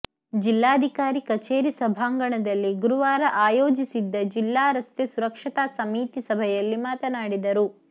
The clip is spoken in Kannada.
ಜಿಲ್ಲಾಧಿಕಾರಿ ಕಚೇರಿ ಸಭಾಂಗಣದಲ್ಲಿ ಗುರುವಾರ ಆಯೋಜಿಸಿದ್ದ ಜಿಲ್ಲಾ ರಸ್ತೆ ಸುರಕ್ಷತಾ ಸಮಿತಿ ಸಭೆಯಲ್ಲಿ ಮಾತನಾಡಿದರು